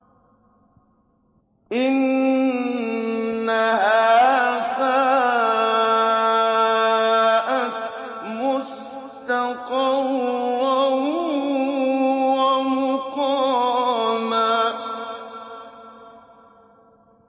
إِنَّهَا سَاءَتْ مُسْتَقَرًّا وَمُقَامًا